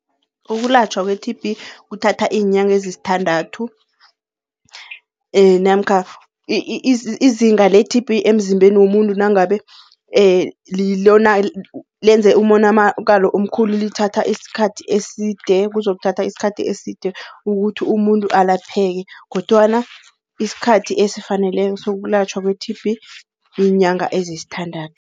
Ukulatjhwa kwe-T_B kuthatha iinyanga ezisithandathu namkha izinga le-T_B emzimbeni womuntu nangabe lona lenze umonamakalo omkhulu lithatha isikhathi eside, kuzokuthatha isikhathi eside ukuthi umuntu alapheke. Kodwana isikhathi esifaneleko sokulatjhwa kwe-T_B yiinyanga ezisithandathu.